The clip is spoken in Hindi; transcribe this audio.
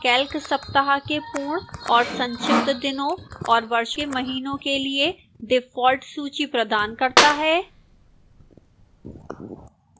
calc सप्ताह के पूर्ण और संक्षिप्त दिनों और वर्ष के महीनों के लिए default सूची प्रदान करता है